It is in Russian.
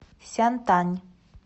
сянтань